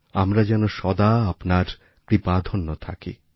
আমরা যেন সদা আপনার কৃপাধন্য থাকি